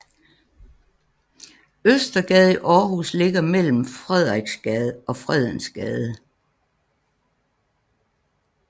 Østergade i Aarhus ligger mellem Frederiksgade og Fredensgade